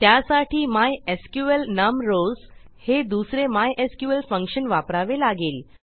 त्यासाठी MySQL num rows हे दुसरे मायस्क्ल फंक्शन वापरावे लागेल